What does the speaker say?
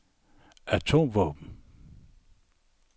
atomvåben